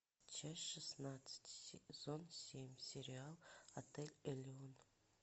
часть шестнадцать сезон семь сериал отель элеон